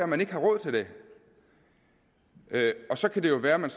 man ikke har råd til det og så kan det jo være at man